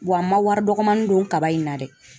Wa n ma wari dɔgɔnin don kaba in na dɛ.